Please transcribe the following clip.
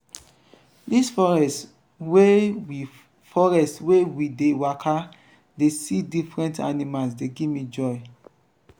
dis forest wey we forest wey we dey waka dey see different animals dey give me joy.